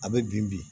A bɛ bin bin